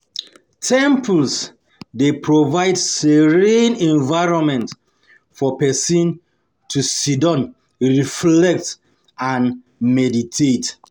Temples dey provide serene environment for pesin to sidon reflect and meditate.